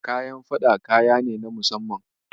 Kayan faɗa kaya ne na musamman.